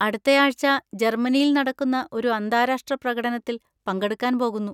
അടുത്തയാഴ്ച ജർമ്മനിയിൽ നടക്കുന്ന ഒരു അന്താരാഷ്ട്ര പ്രകടനത്തിൽ പങ്കെടുക്കാൻ പോകുന്നു.